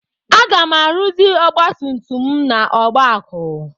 Aga m arụzi ọgbatumtum m n'Ọgbakụ.